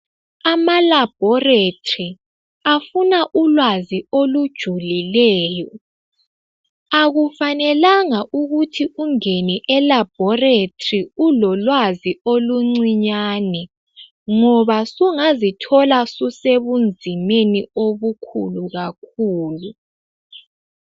Amalabhoratari afuna ulwazi olujulileyo. Akufanelanga ukuthi ungene elabhorathori ulolwazi oluncinyane ngoba sungazithola susebunzimeni obukhulu kakhulu.